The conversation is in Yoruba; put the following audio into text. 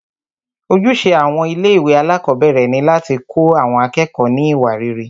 Ojúṣe àwọn ilé ìwé alákọ̀berẹ̀ ni láti kọ́ àwọn akẹ́kọ̀ọ́ ní iwa rere.